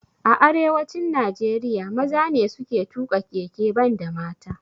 A arewacin Najeriya maza ne suke tuƙa keke banda mata